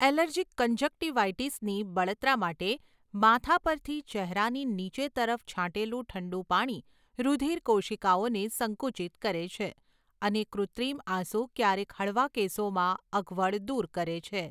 Allergic કંજક્ટીવાઈટીસની બળતરા માટે, માથા પરથી ચહેરાની નીચે તરફ છાંટેલું ઠંડું પાણી રુધિરકોશિકાઓને સંકુચિત કરે છે અને કૃત્રિમ આંસુ ક્યારેક હળવા કેસોમાં અગવડ દૂર કરે છે.